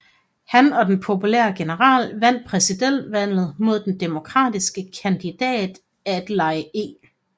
Han og den populære general vandt præsidentvalget mod den demokratiske kandidat Adlai E